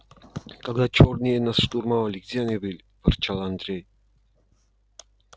когда чёрные нас штурмовали где они были ворчал андрей